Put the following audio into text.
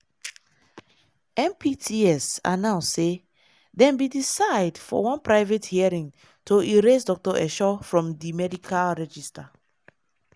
mpts announce say dem bin decide for one private hearing to erase dr esho from di medical register.